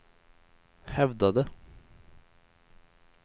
hävdade